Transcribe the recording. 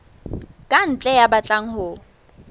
ka ntle ya batlang ho